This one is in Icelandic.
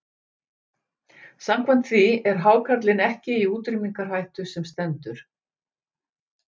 Samkvæmt því er hákarlinn ekki í útrýmingarhættu sem stendur.